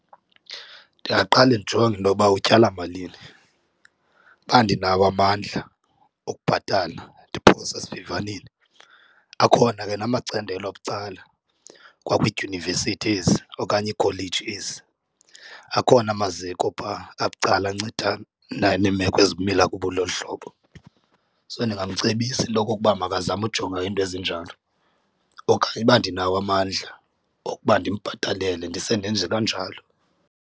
Ndingaqale ndijonge intoba utyala malini. Uba ndinawo amandla okubhatala ndiphosa esivivaneni, akhona ke namacandelo abucala kwakwiidyunivesith ezi okanye iikholeji ezi. Akhona amaziko phaa abucala anceda neemeko ezimila buloluhlobo. So ndingamcebisa into okokuba makazame ujonga iinto ezinjalo, okanye uba ndinawo amandla okuba ndimbhatalele ndise ndenje kanjalo.